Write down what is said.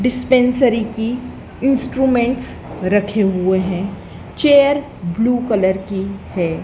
Dispensary की instruments रखे हुए हैं चेयर ब्लू कलर की है।